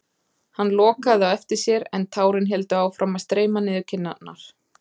Hann lokaði á eftir sér en tárin héldu áfram að streyma niður kinnarnar.